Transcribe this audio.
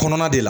Kɔnɔna de la